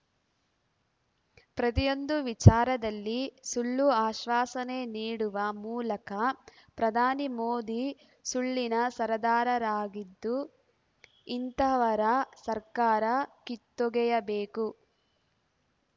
ಪ್ರತಿಯೊಂದು ವಿಚಾರದಲ್ಲಿ ಸುಳ್ಳು ಆಶ್ವಾಸನೆ ನೀಡುವ ಮೂಲಕ ಪ್ರಧಾನಿ ಮೋದಿ ಸುಳ್ಳಿನ ಸರದಾರರಾಗಿದ್ದು ಇಂತಹವರ ಸರ್ಕಾರ ಕಿತ್ತೊಗೆಯಬೇಕು